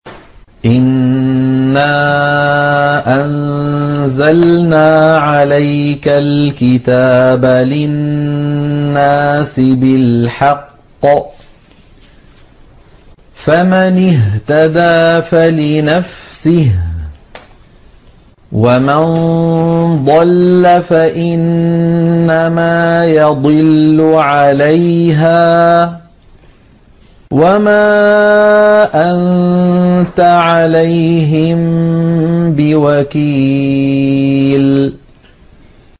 إِنَّا أَنزَلْنَا عَلَيْكَ الْكِتَابَ لِلنَّاسِ بِالْحَقِّ ۖ فَمَنِ اهْتَدَىٰ فَلِنَفْسِهِ ۖ وَمَن ضَلَّ فَإِنَّمَا يَضِلُّ عَلَيْهَا ۖ وَمَا أَنتَ عَلَيْهِم بِوَكِيلٍ